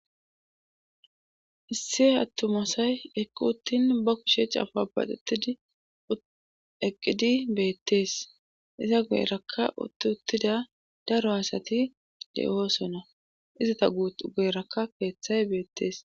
Isse attumasay eqqu uttin ba kusheech afabaqetid eqqidi beettees iza guerakka utti uttida daro asati de'oosona izata guut geeraka keeththay beettees